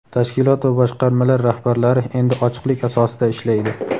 tashkilot va boshqarmalar rahbarlari endi ochiqlik asosida ishlaydi.